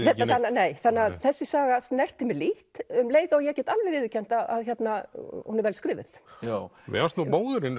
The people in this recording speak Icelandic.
nei þessi saga snerti mig lítt um leið og ég get alveg viðurkennt að hún er vel skrifuð mér fannst nú móðurinni